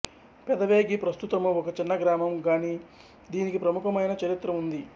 పెదవేగి ప్రస్తుతము ఒక చిన్న గ్రామం గాని దీనికి ప్రముఖమైన చరిత్ర ఉంది